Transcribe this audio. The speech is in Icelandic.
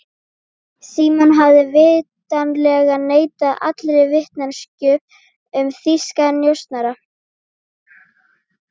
Símon hafði vitanlega neitað allri vitneskju um þýska njósnara.